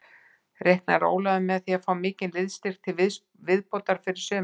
Reiknar Ólafur með að fá mikinn liðsstyrk til viðbótar fyrir sumarið?